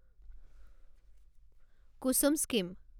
কুছুম scheme